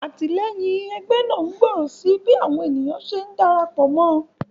Àtìléyìn egbé náà ngbòrò sí bí àwon ènìyàn se ndarapò mó